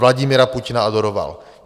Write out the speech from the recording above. Vladimira Putina adoroval.